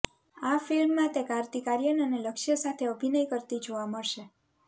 આ ફિલ્મમાં તે કાર્તિક આર્યન અને લક્ષ્ય સાથે અભિનય કરતી જોવા મળશે